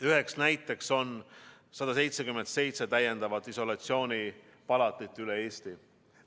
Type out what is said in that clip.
Üheks näiteks on 177 täiendavat isolatsioonipalatit üle Eesti.